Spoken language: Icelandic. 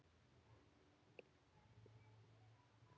HINSTA KVEÐJA Elsku mamma mín.